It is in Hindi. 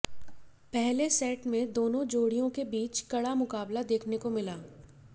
पहले सेट में दोनों जोड़ियों के बीच कड़ा मुकाबला देखने को मिला